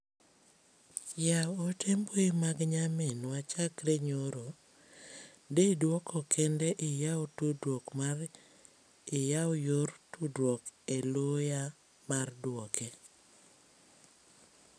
Yaw ote mbui mag nyaminwa chakre nyoro, di duoko kende iyaw tudruok mar iyaw yor tudruok e loya mar duoke.